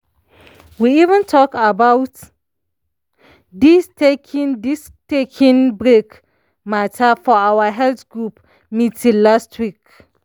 we even talk about this taking this taking break matter for our health group meeting last week.